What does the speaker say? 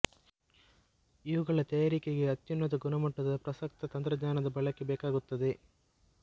ಇವುಗಳ ತಯಾರಿಕೆಗೆ ಅತ್ಯುನ್ನತ ಗುಣಮಟ್ಟದ ಪ್ರಸಕ್ತ ತಂತ್ರಙ್ಙಾನದ ಬಳಕೆ ಬೇಕಾಗುತ್ತದೆ